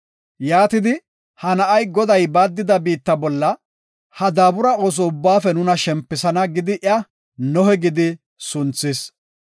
Yaatidi, “Ha na7ay Goday baaddida biitta bolla ha daabura ooso ubbaafe nuna shempisana” gidi iya Nohe gidi sunthis.